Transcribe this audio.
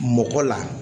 Mɔgɔ la